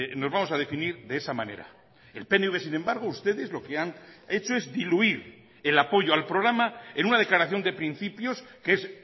nos vamos a definir de esa manera el pnv sin embargo ustedes lo que han hecho es diluir el apoyo al programa en una declaración de principios que es